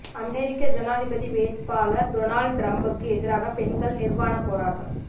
அமெரிக்க ஜனாதிபதி வேட்பாளர் டொனால்டு டிரம்புக்கு எதிராக பெண்கள் நிர்வாண போராட்டம்